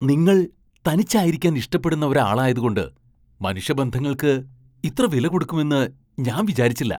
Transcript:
നിങ്ങൾ തനിച്ചായിരിക്കാൻ ഇഷ്ടപ്പെടുന്ന ഒരാളായതുകൊണ്ട്, മനുഷ്യബന്ധങ്ങൾക്ക് ഇത്ര വിലകൊടുക്കുമെന്ന് ഞാൻ വിചാരിച്ചില്ല .